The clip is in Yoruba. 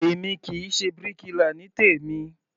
Èmi kì í ṣe bíríkilà ní tèmí.